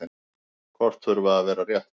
Kort þurfa að vera rétt.